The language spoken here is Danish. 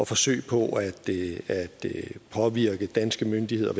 forsøg på at påvirke danske myndigheder